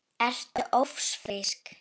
Ertu ófrísk?